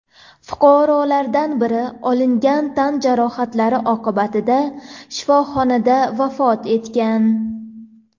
Fuqarolardan biri olingan tan jarohatlari oqibatida shifoxonada vafot etgan.